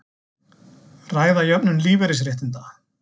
Ræða jöfnun lífeyrisréttinda